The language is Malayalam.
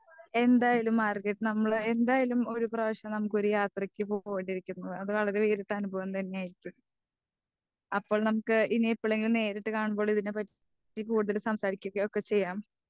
എന്തായാലും മാർഗററ്റെ നമ്മള് എന്തയാലും ഒരുപ്രാവശ്യം ഒരു യാത്രക്ക് പോവുകയോ അത് വേറിട്ടൊരു അനുഭവം തന്നെയായിരിക്കും. അപ്പൊൾ നമുക്ക് ഇനി എപ്പഴെങ്കിലും നേരിട്ട് കാണുമ്പോൾ ഇതിനെ പറ്റി കൂടുതൽ സംസാരിക്കുകയൊക്കെ ചെയ്യാം.